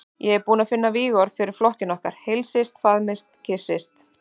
Ég er búinn að finna vígorð fyrir flokkinn okkar: Heilsist, faðmist, kyssist.